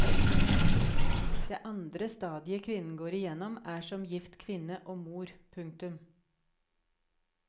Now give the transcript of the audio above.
Det andre stadiet kvinnen går igjennom er som gift kvinne og mor. punktum